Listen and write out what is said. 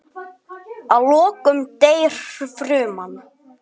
Að lokum deyr fruman.